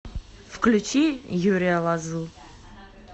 включи юрия лозу